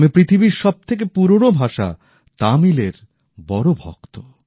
আমি পৃথিবীর সব থেকে পুরোনো ভাষা তামিলের বড় ভক্ত